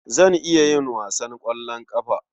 Zan iya yin wasan ƙwallon ƙafa.